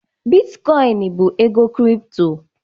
Bitkoin bụ ego kripto